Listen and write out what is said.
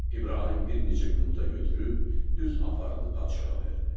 İbrahim bir neçə yumurta götürüb düz apardı padşaha verdi.